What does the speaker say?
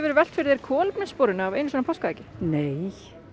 velt fyrir þér kolefnissporinu af einu svona páskaeggi nei